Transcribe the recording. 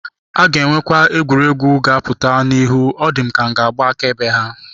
A ga-enwekwu egwuregwu ga-apụta n'ihu, ọ dị m ka m ga-agba akaebe ha.